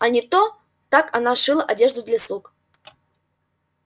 а не то так она шила одежду для слуг